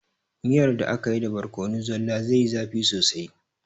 Miyar da akayi da borkono zalla zaiyi zafi sosai